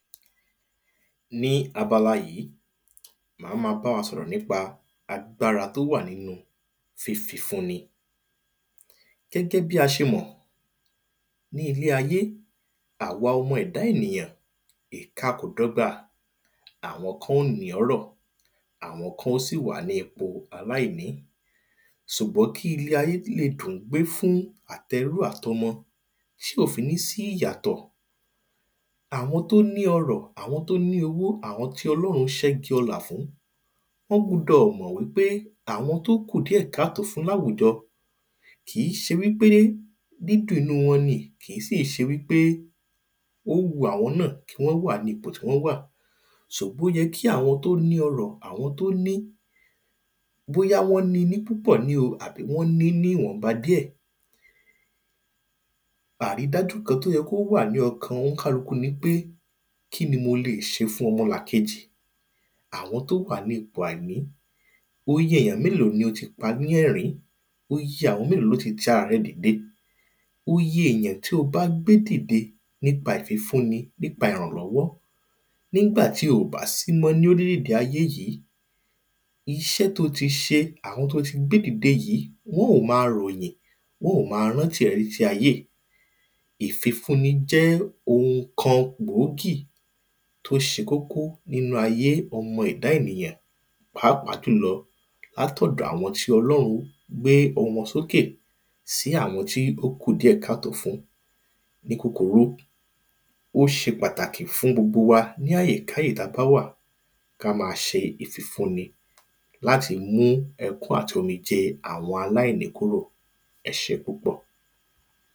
Ní abala yí, màá ma bá wa sọ̀rọ̀ nípa agbára tó wà nínu fífifún ni., àwọn kan ó sì wà ní ipò aláìní, ṣùgbọ́n kí ilé ayé le dùn gbé fún àt’ẹrú àt’ọmọ, tí kò fi ní sí ìyàtọ̀, àwọn tó ní ọrọ̀, àwọn tó ní owó, àwọn tí ọlọ́run sẹ́gun ọlá fún, wọ́n gbọdọ̀ mọ̀ wípé àwon tó kù káà tó fún láwùjọ, kìí se wípé dídùn inú wọ́n ni, kì í sì ṣe wípé ó wu àwọn ná kí wọ́n wà ní ipò tí wọ́n wà, ṣùgbọ́n, ó yẹ kí àwọn tí ó ní ọrọ, àwọn tó ní, bóyá wọ́n ni ní púpọ̀ ní o, tàbí wọ́n ni ní ìwọ̀nba díẹ̀. Àrídájú kan tó yẹ kó wà ní ọkàn oníkálukú ni pé, kí ni mo lè se fún ọmọlàkejì? Àwọn tó wà ní ipò àìní?, iye èyàn mélòó ni ó ti pa lẹ́ẹ̀rín? Iye èyàn mélòó ló ti ara rẹ dìde? Iye èyàn tí o bá gbé dìde nípa ìfifún ni, nípa ìrànlọ́wọ́, ní gbà tí ò bá sí mọ́ l orilẹ-ede ayé yí, iṣẹ́ to ti ṣe, àwọn to ti gbé dìde yí, wọ́n ò ma ròyìn, wọ́n ò ma rántí re tí tí ayé. Ìfifún ni jẹ́ oun kan gbǒgì, tó ṣe kókó nínu ayé ọmọ ẹ̀dá ènìyàn pàápàá jùlọ lát’ọ̀dọ̀ àwọn tí ọlọ́run gbé ohùn wọn sókè sí àwọn tí ó kù díẹ̀ ká tò fún. Ní kúkurú, ó se pàtàkì fún gbogbo wa ní àyèkáyé ta bá wà, ká ma ṣe ìfifún ni láti mú ẹkún àti omijé àwọn aláìní kúrò. Ẹsé púpọ̀.